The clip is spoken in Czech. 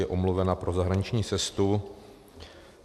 Je omluvena pro zahraniční cestu.